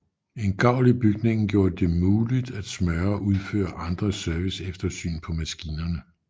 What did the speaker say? En gavl i bygningen gjorde de muligt at smøre og udføre andre serviceeftersyn på maskinerne